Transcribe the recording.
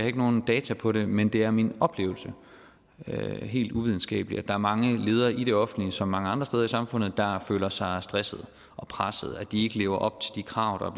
ikke nogen data på det men det er min oplevelse helt uvidenskabeligt at der er mange ledere i det offentlige som mange andre steder i samfundet der føler sig stressede og pressede føler at de ikke lever op til de krav der